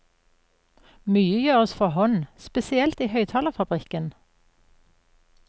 Mye gjøres for hånd, spesielt i høyttalerfabrikken.